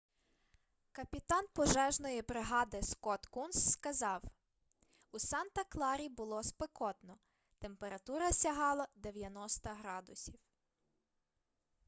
капітан пожежної бригади скотт кунс сказав у санта-кларі було спекотно температура сягала 90 градусів